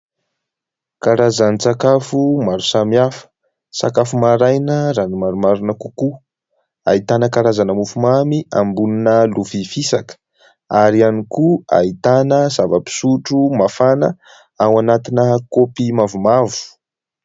Karazan-tsakafo maro samihafa ; sakafo maraina raha ny marimarina kokoa ; ahitana karazana mofo mamy ambonina lovia fisaka ary ihany koa ahitana zava-pisotro mafana ao anatina kaopy mavomavo.